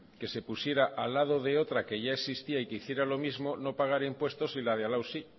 que se pusiera al lado de otra que ya existía y que hiciera lo mismo no pagara impuestos y la de al lado sí